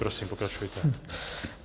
Prosím, pokračujte.